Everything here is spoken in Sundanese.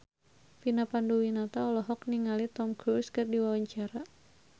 Vina Panduwinata olohok ningali Tom Cruise keur diwawancara